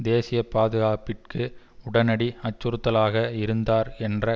தேசிய பாதுகாப்பிற்கு உடனடி அச்சுறுத்தலாக இருந்தார் என்ற